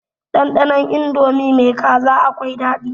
Ɗanɗanon indomi mai kaza akwai daɗi.